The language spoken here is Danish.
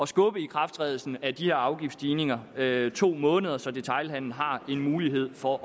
skubbe ikrafttrædelsen af de her afgiftsstigninger med to måneder så detailhandelen har en mulighed for